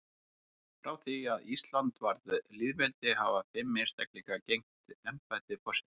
Frá því að Ísland varð lýðveldi hafa fimm einstaklingar gegnt embætti forseta.